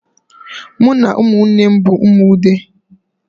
M na umunnem bu umu Ude